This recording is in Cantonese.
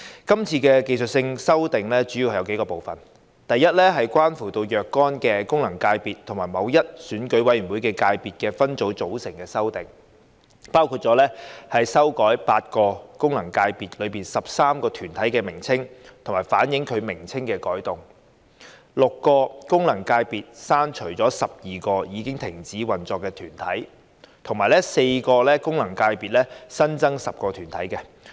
今次的技術性修訂主要有數個部分，第一，是關乎若干功能界別及某一選舉委員會界別分組組成的修訂，包括修改8個功能界別內13個團體的名稱，以反映其名稱的改動；從6個功能界別刪除12個已停止運作的團體；以及為4個功能界別新增10個團體。